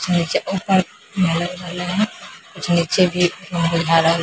नीचे ऊपर है कुछ नीचे भी बुझा रहले --